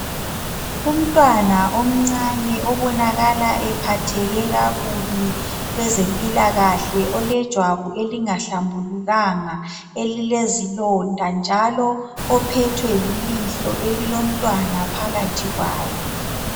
umntwana omncane obonakalaephatheke kakubi kwezempilakahle olejwabu elingahlambulukanga elilezilonda njalo ophethwe lilihlo elilomntwana phakathi kwalo